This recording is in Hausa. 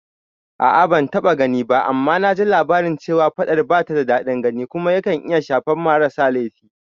A'a ban taɓa gani ba, amma naji labari cewa faɗar bata da daɗin gani kuma yakan iya shafan marasa laifi